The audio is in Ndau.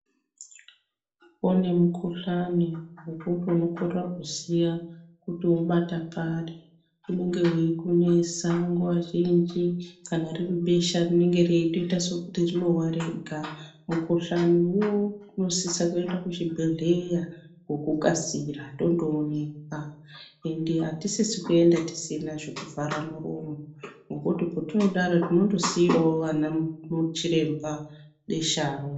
Kune mukhuhlani wekuti unokorera kuziya kuti wobata pari unenge weikunesa nguwa zhinji kana riribesha rinenge reita sokuti rinowa rega tinosisa kuenda kuzvibhehlera ngekukasira tindoonekwa mukhuhlani wo ende atisisi kuenda tisina zvivharamuromo ngekuti tinozondosiirawo anachiremba besharo.